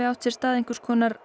átti sér stað einhvers konar